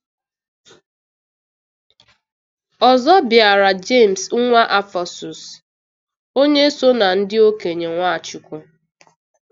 Ọzọ bịara Jemes nwa Alfasus, onye so na ndị okenye Nwachukwu.